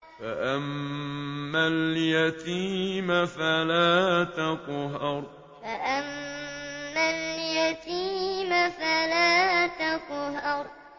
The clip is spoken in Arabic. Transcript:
فَأَمَّا الْيَتِيمَ فَلَا تَقْهَرْ فَأَمَّا الْيَتِيمَ فَلَا تَقْهَرْ